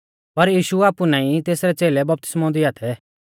पर यीशु आपु नाईं तेसरै च़ेलै बपतिस्मौ दिआ थै